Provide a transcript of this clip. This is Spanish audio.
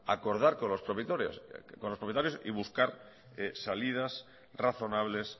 acordar con los propietarios y buscar salidas razonables